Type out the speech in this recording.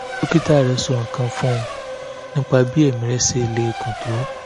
dókítà rẹ̀ kò sọ nǹkan kan fún un nípa bí ẹ̀mí rẹ̀ ṣe lè gùn tó